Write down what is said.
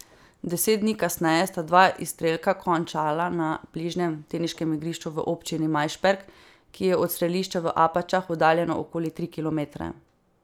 Deset dni kasneje sta dva izstrelka končala na bližnjem teniškem igrišču v občini Majšperk, ki je od strelišča v Apačah oddaljeno okoli tri kilometre.